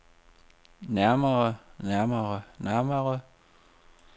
nærmere nærmere nærmere